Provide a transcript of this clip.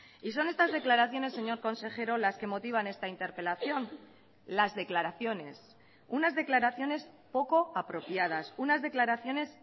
y son estas declaraciones señor consejero las que motivan esta interpelación las declaraciones unas declaraciones poco apropiadas unas declaraciones